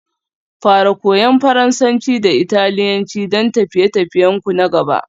Fara Koyan Faransanci da Italiyanci don tafiye-tafiyenku na gaba